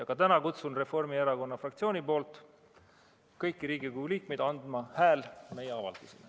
Aga täna kutsun Reformierakonna fraktsiooni nimel kõiki Riigikogu liikmeid andma häält meie avaldusele.